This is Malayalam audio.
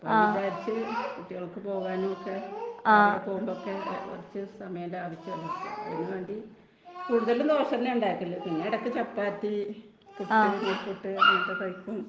കുട്ടികൾക്ക് പോകാനുമൊക്കെ ,പോകുമ്പോഴൊക്കെ സമയം ലാഭിക്കാല്ലോ .കൂടുതലും ദോശ തന്നെ ആണ് ഉണ്ടാകാറു.പിന്നെ ചപ്പാത്തി ,പുട്ടു ,നൂൽപുട്ടു അങ്ങനത്തെ ടൈപ്പ്‌ ഉം .